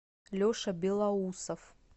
леша белоусов